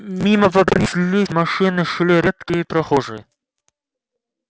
мимо по проспекту неслись машины шли редкие прохожие